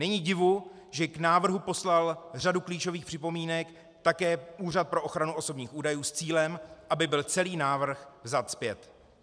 Není divu, že k návrhu poslal řadu klíčových připomínek také Úřad pro ochranu osobních údajů s cílem, aby byl celý návrh vzat zpět.